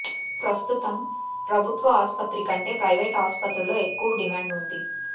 ప్రస్తుతం ప్రభుత్వ ఆసుపత్రి కంటే ప్రైవేట్ ఆసుపత్రిలో ఎక్కువ డిమాండ్ ఉంది